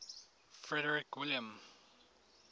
frederick william